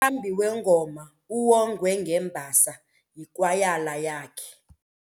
Umqambi wengoma uwongwe ngembasa yikwayala yakhe.